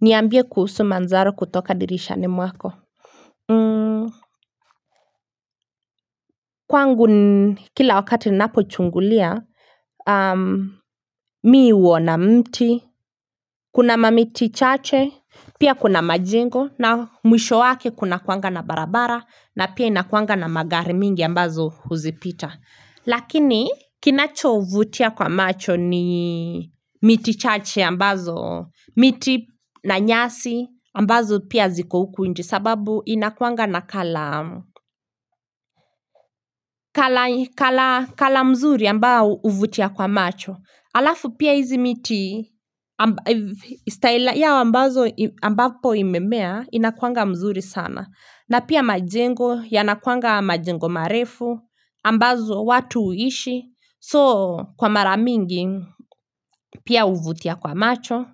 Niambie kuhusu manzaro kutoka dirishani mwako kwangu ni kila wakati ninapo chungulia mimi huona mti kuna mamiti chache pia kuna majengo na mwisho wake kunakuanga na barabara na pia inakuanga na magari mingi ambazo huzipita lakini kinacho vutia kwa macho ni miti chache ambazo miti na nyasi ambazo pia ziko huku nje sababu inakuanga na color mzuri ambao huvutia kwa macho alafu pia hizi miti yao ambazo ambapo imemea inakuanga mzuri sana na pia majengo yanakuanga majengo marefu ambazo watu huishi soo kwa mara mingi pia huvutia kwa macho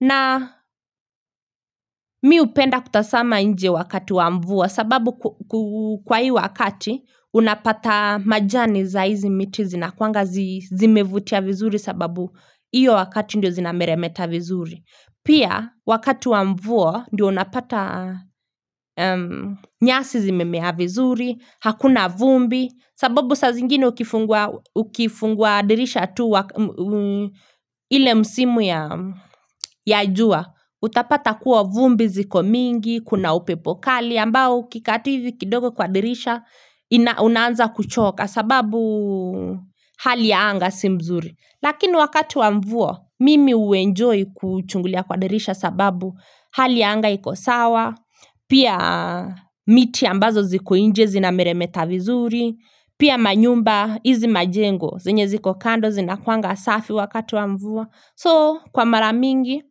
na mimi hupenda kutasama nje wakati wa mvua sababu kwa hii wakati unapata majani za hizi miti zinakuanga zimevutia vizuri sababu hio wakati ndio zinameremeta vizuri Pia, wakati wa mvua ndio unapata nyasi zimemea vizuri Hakuna vumbi sababu saa zingine ukifungua dirisha tu wa ile msimu ya jua Utapata kuwa vumbi ziko mingi, kuna upepo kali ambao ukikaa tu hivi kidogo kwa dirisha unaanza kuchoka sababu hali ya anga si mzuri Lakini wakati wa mvua mimi huenjoy kuchungulia kwa dirisha sababu hali ya anga iko sawa Pia miti ambazo ziko nje zina meremeta vizuri Pia manyumba hizi majengo zenye ziko kando zinakuwanga safi wakati wa mvua So kwa mara mingi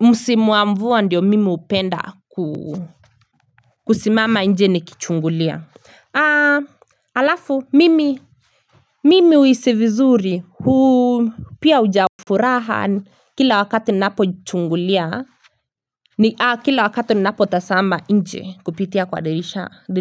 Msimu wa mvua ndio mimi hupenda kusimama nje nikichungulia. Aa Alafu mimi mimi huhisi vizuri huu pia hujaa furaha kila wakati ninapo chungulia Kila wakati ninapo tasama nje kupitia kwa dirisha di.